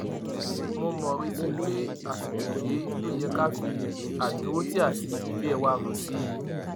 mo mo retí pé àsìkò rèé tó yẹ ká fi àdúrótì àti ìfẹ wa hàn sí i